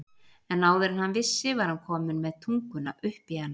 En áður en hann vissi var hann kominn með tunguna upp í hana.